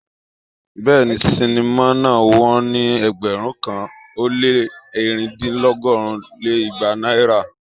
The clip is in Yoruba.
Béèni, sinimá náà wón ní ẹgbẹ̀rún kan ó lé ẹ̀rin dín lọgọ́rin lé igba náírà.